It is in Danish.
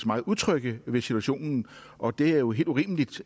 meget utrygge ved situationen og det er jo helt urimeligt